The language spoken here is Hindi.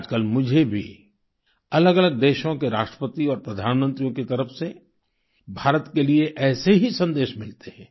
आजकल मुझे भी अलगअलग देशों के राष्ट्रपति और प्रधानमंत्रियों की तरफ से भारत के लिए ऐसे ही संदेश मिलते हैं